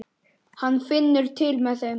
Hún finnur til með þeim.